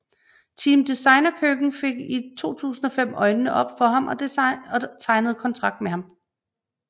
Team Designa Køkken fik i 2005 øjnene op for ham og tegnede kontrakt med ham